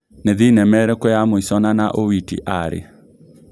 nĩ thĩnema ĩrikũ ya mũĩco nana owiti arĩ